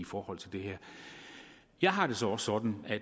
forhold til det her jeg har det så også sådan at